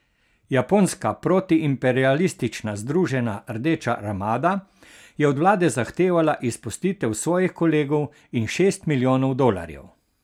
Japonska protiimperialistična Združena Rdeča armada je od vlade zahtevala izpustitev svojih kolegov in šest milijonov dolarjev.